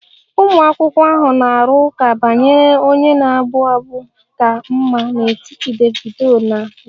Ụmụ akwụkwọ ahụ na-arụ ụka banyere onye na-abụ abụ ka mma n'etiti Davido na wizkid